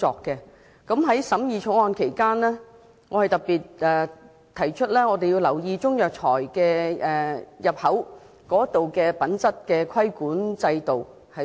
在審議《條例草案》期間，我特別提出要留意及重新審視進口中藥材的品質規管制度。